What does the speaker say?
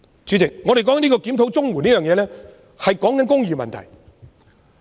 主席，我們討論檢討綜援，是談論公義問題。